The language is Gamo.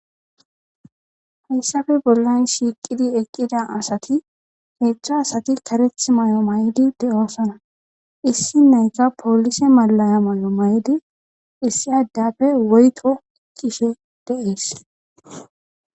hayssafe bollan shiiqidi eqqida asati hezhzhu asati kareth mayo mayidi de'osana issi nayka poolise malaya mayo mayidi issi addappe woyto ekkishe dee'es